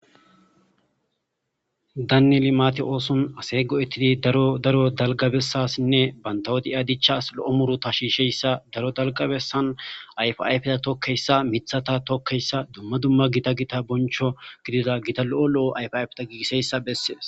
danneli maati ooson asey go7ettidi drodaro dalgabessasinne bantawodi ia dichas lo7o muru ta shiisheyssa daro dalgabesan ayf ayfta tokkeyssa mithata tokkeyssa dumma dumma gita gita boncho gidida gita lo7o lo7o ayf ayfeta giigiseyssa bessees